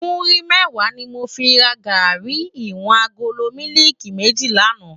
Múri mèwá ni mó fi rá gàrí iwòn àgóló mìlíkí mèjí làná